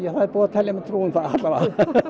það er búið að telja mér trú um það alla vega